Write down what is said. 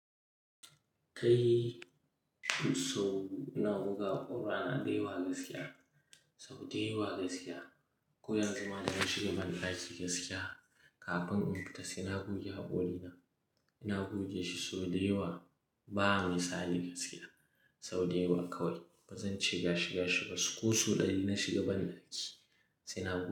Kai saboda ina buga waya da yawa gaskiya, so da yawa gaskiya. Ko yanzu ma da na shiga banɗaki gaskiya kafin in fita sai na goge haƙori na. Ina goge shi so da yawa ba misali gaskiya. So da yawa kawai bazan ce gashi gashi ba. Ko sau ɗari na shiga banɗaki sai na goge.